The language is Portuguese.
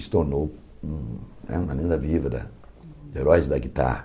E se tornou né uma lenda viva da heróis da guitarra.